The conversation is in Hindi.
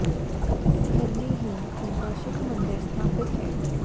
इस घर में ही उनका शिव मंदिर स्थापित है